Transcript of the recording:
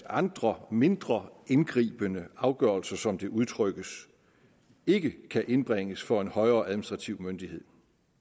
andre mindre indgribende afgørelser som det udtrykkes ikke kan indbringes for en højere administrativ myndighed